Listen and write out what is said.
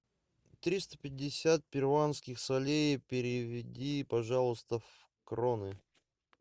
триста пятьдесят перуанских солей переведи пожалуйста в кроны